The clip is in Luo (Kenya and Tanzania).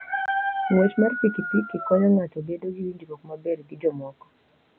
Ng'wech mar pikipiki konyo ng'ato bedo gi winjruok maber gi jomoko.